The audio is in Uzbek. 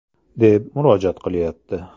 !”, deb murojaat qilayapti.